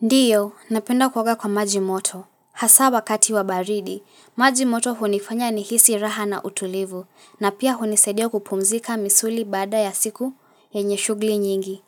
Ndiyo, napenda kuoga kwa maji moto, hasa wakati wa baridi, maji moto hunifanya nihisi raha na utulivu, na pia hunisaidia kupumzika misuli baada ya siku yenye shugli nyingi.